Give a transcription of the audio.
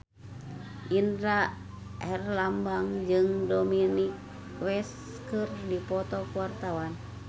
Indra Herlambang jeung Dominic West keur dipoto ku wartawan